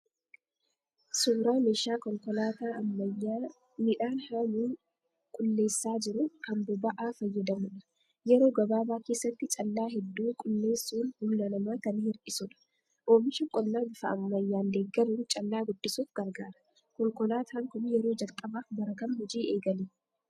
Suuraa meeshaa konkolaataa ammayyaa midhaan haamuun qulleessaa jiruu, kan boba'aa fayyadamudha. Yeroo gabaabaa keessatti callaa hedduu qulleessuun humna namaa kan hir'isudha. Oomisha qonnaa bifa ammaayyaan deeggaruun callaa guddisuuf gargaara. Konkolaataan kun yeroo jalqabaaf bara kam hojii eegale?